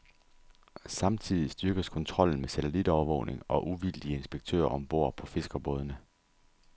Samtidig styrkes kontrollen med satellitovervågning og uvildige inspektører om bord på fiskerbådene.